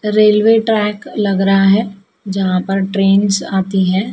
Railway track लग रहा है जहां पर ट्रेंस आती है।